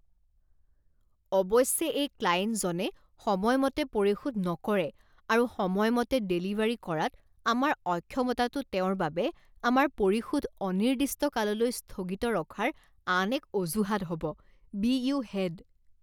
অৱশ্যে এই ক্লায়েণ্টজনে সময়মতে পৰিশোধ নকৰে আৰু সময়মতে ডেলিভাৰী কৰাত আমাৰ অক্ষমতাটো তেওঁৰ বাবে আমাৰ পৰিশোধ অনিৰ্দিষ্ট কাললৈ স্থগিত ৰখাৰ আন এক অজুহাত হ'ব। বি ইউ হেড